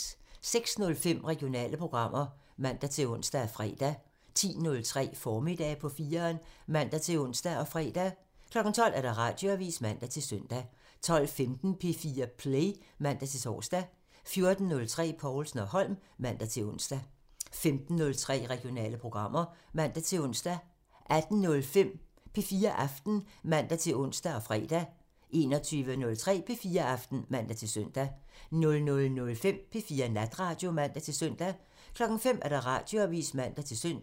06:05: Regionale programmer (man-ons og fre) 10:03: Formiddag på 4'eren (man-ons og fre) 12:00: Radioavisen (man-søn) 12:15: P4 Play (man-tor) 14:03: Povlsen & Holm (man-ons) 15:03: Regionale programmer (man-ons) 18:05: P4 Aften (man-ons og fre) 21:03: P4 Aften (man-søn) 00:05: P4 Natradio (man-søn) 05:00: Radioavisen (man-søn)